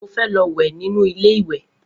Mo fé lo wè nínú ilé ìwè